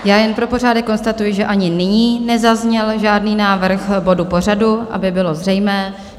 Já jen pro pořádek konstatuji, že ani nyní nezazněl žádný návrh bodu pořadu, aby bylo zřejmé.